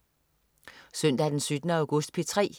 Søndag den 17. august - P3: